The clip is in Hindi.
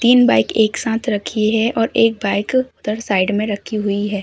तीन बाइक एक साथ रखी है और एक बाइक उधर साइड में रखी हुई है।